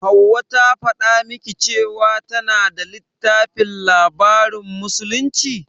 Hauwa ta faɗa miki cewa tana da littafin labarin musulunci?